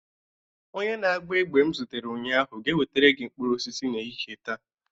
Onye na-agba egbe m zutere ụnyaahụ ga-ewetara gị mkpụrụ osisi n'ehihie taa